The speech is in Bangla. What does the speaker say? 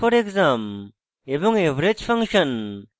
এবং average ফাংশন